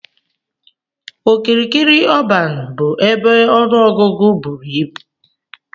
Okirikiri ọban bu ebe ọnụ ọgụgụ buru ibụ.